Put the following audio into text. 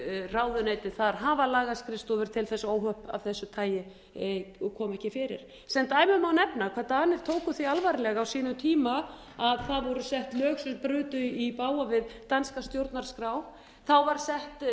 ráðuneytin þar hafa lagaskrifstofur til þess að óhöpp af þessu tagi komi ekki fyrir sem dæmi má nefna hvað danir tóku því alvarlega á sínum tíma að það voru sett lög sem brutu í bága við danska stjórnarskrá þá var sett